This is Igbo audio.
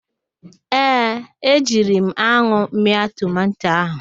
Ee, ejiri m anwụ mịa tomanto ahụ